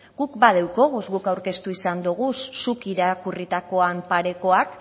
guk badeukoguz guk aurkeztu izan doguz zuk irakurritakoan parekoak